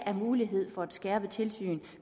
er mulighed for et skærpet tilsyn